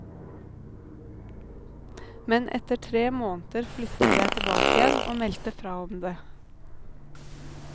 Men etter tre måneder flyttet jeg tilbake igjen, og meldte fra om det.